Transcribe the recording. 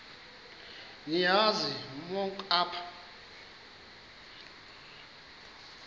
niyazi nonk apha